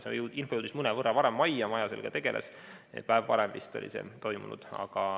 See info jõudis majja mõnevõrra varem ja maja sellega tegeles, vist päev varem oli see toimunud.